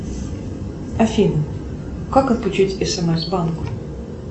афина как отключить смс банк